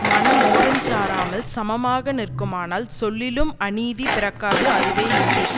மனம் ஓரஞ் சாராமல் சமமாக நிற்குமானால் சொல்லிலும் அநீதி பிறக்காது அதுவே நீதி